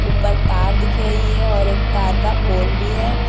उपर तार दिख रही है और एक तार का पोल भी है।